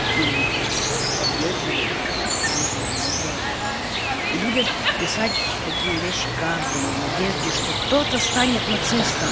ты поддерживаешь режим назара и будет писать такие вещи каждому в надежде что кто-то станет нацистом